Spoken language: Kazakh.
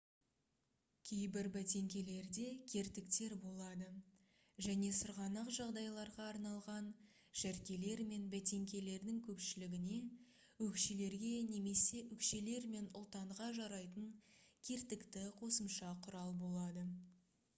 кейбір бәтеңкелерде кертіктер болады және сырғанақ жағдайларға арналған шәркелер мен бәтеңкелердің көпшілігіне өкшелерге немесе өкшелер мен ұлтанға жарайтын кертікті қосымша құрал болады